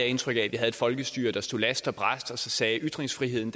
indtryk af at vi havde et folkestyre der stod last og brast og sagde at ytringsfriheden